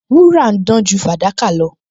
Wúrà ń dán ju fàdákà lọ